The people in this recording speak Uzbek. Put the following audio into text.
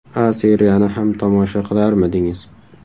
A Seriyani ham tomosha qilarmidingiz ?